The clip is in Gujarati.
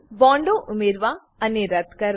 બોન્ડો ઉમેરવા અને રદ્દ કરવા